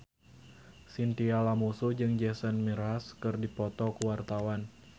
Chintya Lamusu jeung Jason Mraz keur dipoto ku wartawan